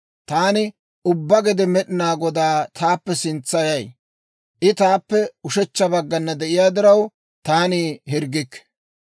Taani ubbaa gede Med'inaa Godaa taappe sintsayay I taappe ushechcha baggana de'iyaa diraw, taani hirggikke.